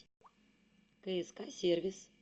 кск сервис